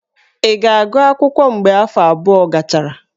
Ị ga-agụsị akwụkwọ mgbe afọ abụọ gachara?